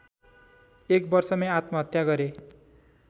एक वर्षमै आत्महत्या गरे